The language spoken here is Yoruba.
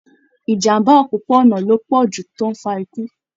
Ìjàmbá òpópó-ònà ló pọ jù tó n fà ikú